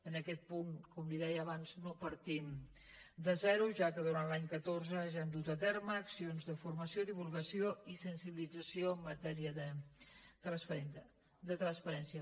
en aquest punt com li deia abans no partim de zero ja que durant l’any catorze ja hem dut a terme accions de formació divulgació i sensibilització en matèria de transparència